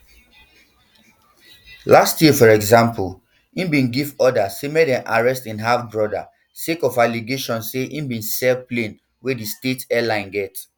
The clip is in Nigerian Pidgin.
last um year for exampleim bin give order make dem arrest im halfbrodasake of allegations say im bin sell um plane wey di state airline get